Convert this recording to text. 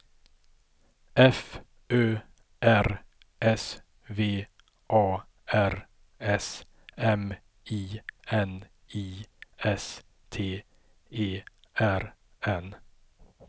F Ö R S V A R S M I N I S T E R N